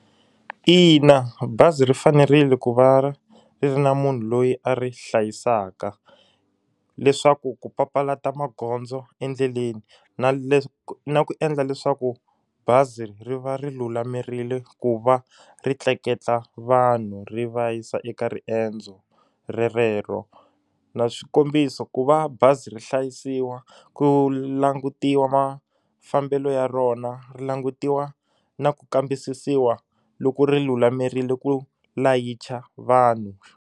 Ina bazi ri fanerile ku va ri ri na munhu loyi a ri hlayisaka leswaku ku papalata magondzo endleleni na na ku endla leswaku bazi ri va ri lulamerile ku va ri tleketla vanhu ri va yisa eka riendzo rerero na swikombiso ku va bazi ri hlayisiwa ku langutiwa mafambelo ya rona ri langutiwa na ku kambisisiwa loko ri lulamerile ku layicha vanhu.